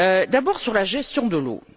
D'abord sur la gestion de l'eau.